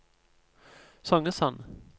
Songesand